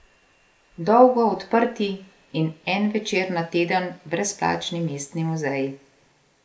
Dolgo odprti in en večer na teden brezplačni mestni muzeji.